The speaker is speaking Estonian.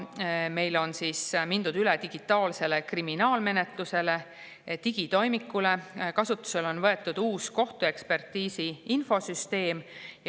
Meil on mindud üle digitaalsele kriminaalmenetlusele, digitoimikule, kasutusele on võetud uus kohtuekspertiisi infosüsteem.